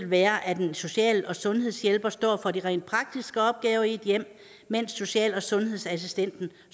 være at en social og sundhedshjælper står for de rent praktiske opgaver i et hjem mens social og sundhedsassistenten